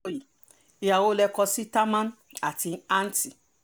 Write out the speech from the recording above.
aláròye ìhà wo lẹ kọ sí támán àti antt